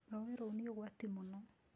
Rũũĩ rũu nĩ ũgwati mũno.